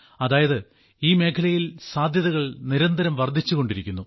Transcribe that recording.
അതായത് ഈ മേഖലയിൽ സാധ്യതകൾ നിരന്തരം വർദ്ധിച്ചുകൊണ്ടിരിക്കുന്നു